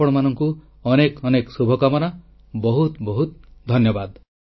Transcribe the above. ଆପଣମାନଙ୍କୁ ଅନେକ ଅନେକ ଶୁଭକାମନା ବହୁତ ବହୁତ ଧନ୍ୟବାଦ